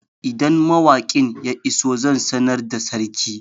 Idan mawakin ya iso zan sanar da sarki